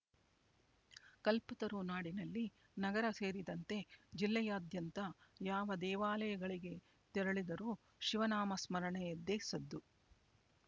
ಕಲ್ಪತರುನಾಡಿನಲ್ಲಿ ನಗರ ಸೇರಿದಂತೆ ಜಿಲ್ಲೆಯಾದ್ಯಂತ ಯಾವ ದೇವಾಲಯಗಳಿಗೆ ತೆರಳಿದರೂ ಶಿವನಾಮ ಸ್ಮರಣೆಯದ್ದೇ ಸದ್ದು